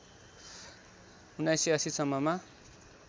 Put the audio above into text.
१९८० सम्ममा